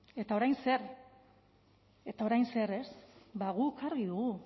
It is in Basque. eta orain zer eta orain zer ez bada guk argi dugu